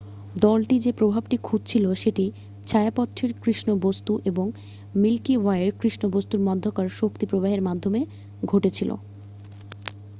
দলটি যে প্রভাবটি খুজছিল সেটি ছায়াপথটির কৃষ্ণ বস্তু এবং মিল্কি ওয়ের কৃষ্ণবস্তুর মধ্যাকার শক্তি প্রবাহের মাধ্যমে ঘটেছিল